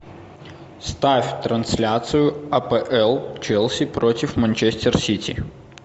ставь трансляцию апл челси против манчестер сити